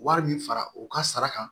Wari min fara u ka sara kan